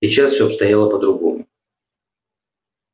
сейчас все обстояло по-другому